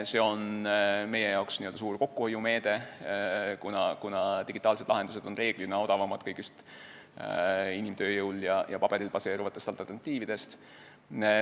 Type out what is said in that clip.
See on meile suur kokkuhoiumeede, kuna digitaalsed lahendused on reeglina odavamad kõigist inimtööjõul ja paberil baseeruvatest alternatiividest.